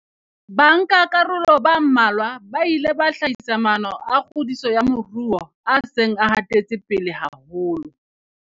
Bankakaroloba mmalwa ba ile ba hlahisa maano a kgodiso ya moruo a seng a hatetse pele haholo.